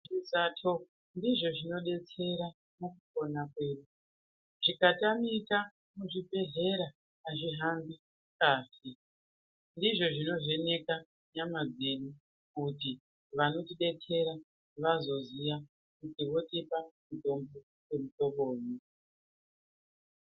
Zvisato ndizvo zvinodetsera mukupona kwedu. Zvimatamika muzvibhehlera azvihambi azvinaki. Ndizvo zvinovheneka nyama dzedu kuti vanotidetsera vazoziya kuti votipa mutombo wemuhlobonyi.